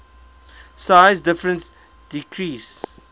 size difference decreases